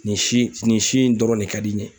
Nin si ,nin si in dɔrɔn de ka di n ye.